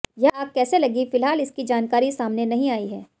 यह आग कैसे लगी फिलहाल इसकी जानकारी सामने नहीं आई है